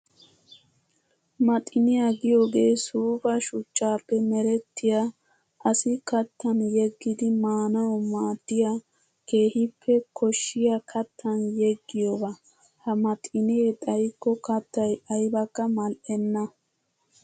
Maxinniya giyooge suufa suchchappe merettiya asi kattan yeggiddi maanawu maadiya keehippe koshiya kattan yeggiyooba. Ha maxinne xayikko kattay aybbakka mali'enna.